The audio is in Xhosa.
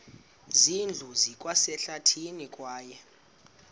zindlu zikwasehlathini kwaye